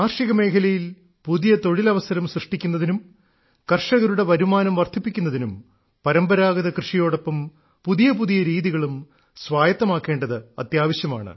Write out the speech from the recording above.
കാർഷികമേഖലയിൽ പുതിയ തൊഴിലവസരം സൃഷ്ടിക്കുന്നതിനും കർഷകരുടെ വരുമാനം വർദ്ധിപ്പിക്കുന്നതിനും പരമ്പരാഗത കൃഷിയോടൊപ്പം പുതിയ പുതിയ രീതികളും സ്വായത്തമാക്കേണ്ടത് അത്യാവശ്യമാണ്